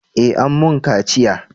Eh an mun kaciya